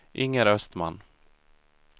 Inger Östman